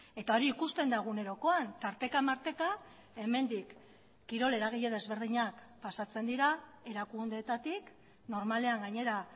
eta hori ikusten da egunerokoan tarteka marteka hemendik kirol eragile desberdinak pasatzen dira erakundeetatik normalean gainera